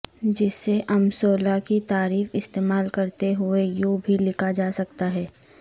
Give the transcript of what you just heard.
جسے امثولہ کی تعریف استعمال کرتے ہوئے یوں بھی لکھا جا سکتا ہے